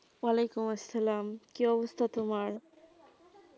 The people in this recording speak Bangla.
ওয়ালিকুম আসসালাম কী অবস্থা তোমার?